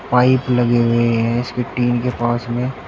pipe लगे हुए हैं इसकी टीन के पास में--